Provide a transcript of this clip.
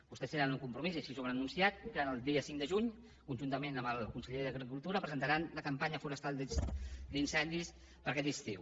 vostès tenen un compromís i així ho han anunciat que el dia cinc de juny conjuntament amb el conseller d’ agricultura presentaran la campanya forestal d’incendis per a aquest estiu